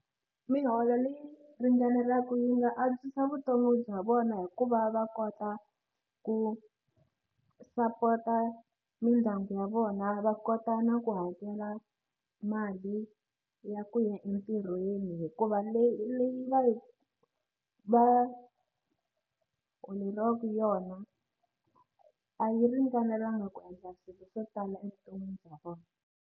Miholo leyi ringaneleke yi nga antswisa vutomi bya vona hi ku va va kota ku sapota mindyangu ya vona va kota na ku hakela mali ya ku ya entirhweni hikuva leyi leyi va yi va holeriwaku yona a yi ringanelanga ku endla swilo swo tala evuton'wini bya vona.